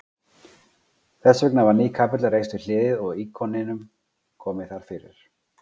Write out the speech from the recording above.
Þessvegna var ný kapella reist við hliðið og íkoninum komið þar fyrir.